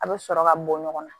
A bɛ sɔrɔ ka bɔ ɲɔgɔn na